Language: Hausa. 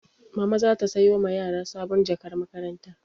Mama za ta sayo ma yara sabon jakar makaranta.